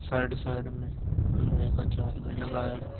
Side side में लोहे का जाल भी लगा है।